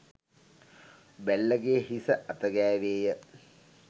බැල්ලගේ හිස අත ගෑවේ ය.